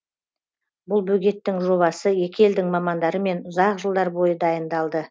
бұл бөгеттің жобасы екі елдің мамандарымен ұзақ жылдар бойы дайындалды